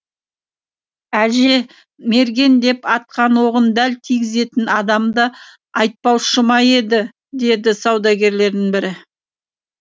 әже мерген деп атқан оғын дәл тигізетін адамды айтпаушы ма еді деді саудагерлердің бірі